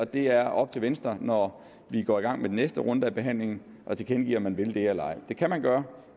det er op til venstre når vi går i gang med den næste runde af behandlingen at tilkendegive om man vil det eller ej det kan man gøre